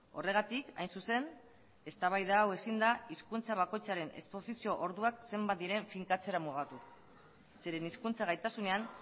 horregatik hain zuzen eztabaida hau ezin da hizkuntza bakoitzaren esposizio orduak zenbat diren finkatzera mugatu zeren hizkuntza gaitasunean